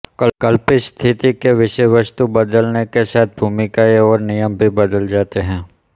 कल्पित स्थिति की विषयवस्तु बदलने के साथ भूमिकाएं और नियम भी बदल जाते हैं